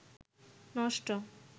নষ্ট